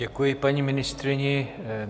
Děkuji paní ministryni.